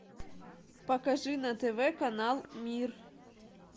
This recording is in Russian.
покажи на тв канал мир